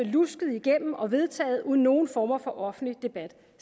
lusket igennem og vedtaget uden nogen former for offentlig debat